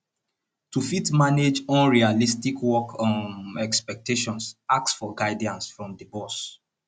to fit manage unrealistic work um expectations ask for guidance from di boss